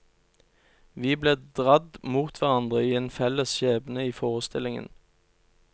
Vi ble dradd mot hverandre i en felles skjebne i forestillingen.